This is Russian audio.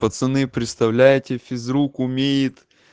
пацаны представляете физрук умеет